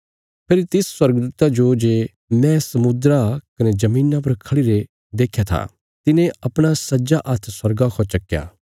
फेरी तिस स्वर्गदूता जो जे मैं समुद्रा कने धरतिया पर खढ़ी रे देख्या था तिने अपणा सज्जा हाथ स्वर्गा खौ चक्कया